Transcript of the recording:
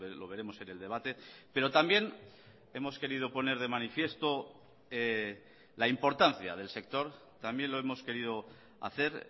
lo veremos en el debate pero también hemos querido poner de manifiesto la importancia del sector también lo hemos querido hacer